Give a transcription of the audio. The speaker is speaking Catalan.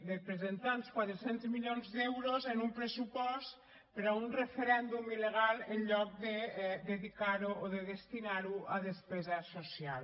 de presentar els quatre cents milions d’euros en un pressupost per a un referèndum il·legal en lloc de dedicar ho o de destinar ho a despesa social